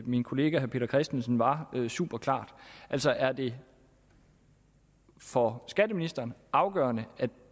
min kollega herre peter christensen var super klart altså er det for skatteministeren afgørende at